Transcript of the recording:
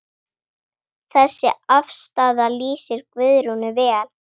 Þessi afstaða lýsir Guðrúnu vel.